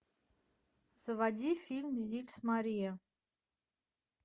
заводи фильм зильс мария